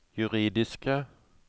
juridiske